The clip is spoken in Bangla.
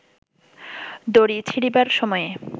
দড়ি ছিঁড়িবার সময়ে